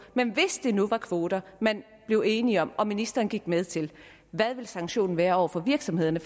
men hvis det nu var kvoter man blev enige om og som ministeren gik med til hvad ville sanktionen være over for virksomhederne